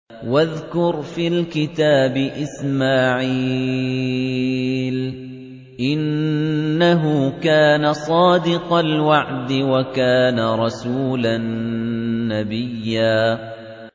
وَاذْكُرْ فِي الْكِتَابِ إِسْمَاعِيلَ ۚ إِنَّهُ كَانَ صَادِقَ الْوَعْدِ وَكَانَ رَسُولًا نَّبِيًّا